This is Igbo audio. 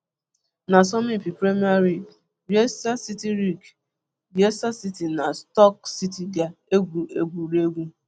N'asọmpi Premier League, Leicester City League, Leicester City na Stoke City ga-egwu egwuregwu